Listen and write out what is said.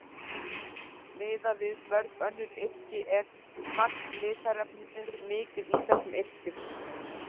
Miðað við mörg önnur yrki er magn litarefnis mikið í þessum yrkjum.